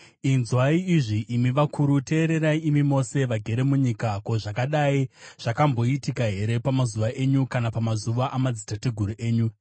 Inzwai izvi, imi vakuru; teererai imi mose vagere munyika. Ko, zvakadai zvakamboitika here pamazuva enyu, kana pamazuva amadzitateguru enyu?